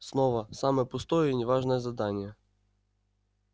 снова самое пустое и не важное задание